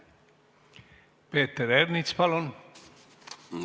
Peeter Ernits, palun!